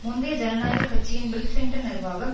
முந்தைய ஜனநாயக கட்சியின் பில் கிளின்டன் நிர்வாகம்